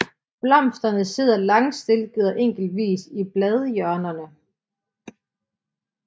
Blomsterne sidder langstilkede og enkeltvis i bladhjørnerne